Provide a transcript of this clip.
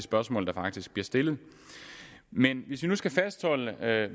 spørgsmål der faktisk bliver stillet men hvis vi nu skal fastholde